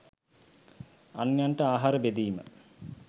අන්‍යයන්ට ආහාර බෙදීම